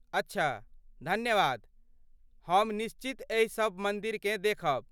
अच्छा, धन्यवाद, हम निश्चित एहि सब मन्दिरकेँ देखब।